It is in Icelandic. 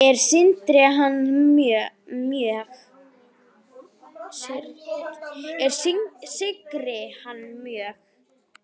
Ég syrgi hann mjög.